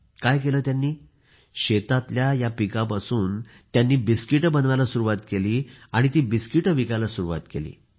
त्यांनी काय केलं शेतातील या पिकापासून बिस्किटे बनवायला सुरुवात केली आणि ती बिस्किटे विकायला सुरुवात केली